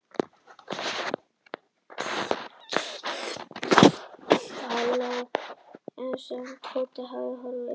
Hann ætlaði að fara gangandi í sömu átt og Tóti hafði horfið í.